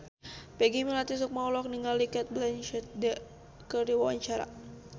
Peggy Melati Sukma olohok ningali Cate Blanchett keur diwawancara